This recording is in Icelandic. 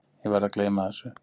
Ég verð að gleyma þessu.